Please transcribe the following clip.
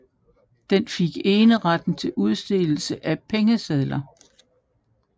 Den fik eneretten til udstedelse af pengesedler